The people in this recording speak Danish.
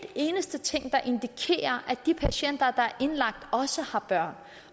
eneste ting der indikerer at de patienter der er indlagt også har børn